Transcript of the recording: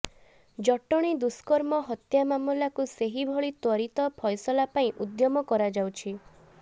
ଜଟଣୀ ଦୁଷ୍କର୍ମ ହତ୍ୟା ମାମଲାକୁ ସେହିଭଳି ତ୍ବରିତ ଫଏସଲା ପାଇଁ ଉଦ୍ୟମ କରାଯାଉଛି